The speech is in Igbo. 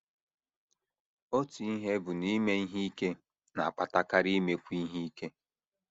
Otu ihe bụ na ime ihe ike na - akpatakarị imekwu ihe ike.